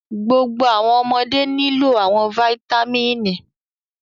Gbogbo awọn ọmọde nilo awọn fáítámínì